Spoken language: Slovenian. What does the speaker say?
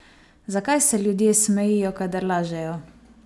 Zakaj se ljudje smejijo, kadar lažejo?